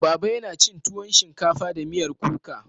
Baba yana cin tuwon shinkafa da miyar kuka.